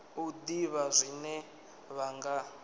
u ḓivha zwine vha nga